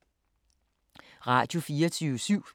Radio24syv